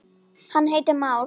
hann heitir már.